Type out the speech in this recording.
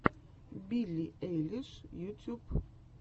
билли эйлиш ютьюб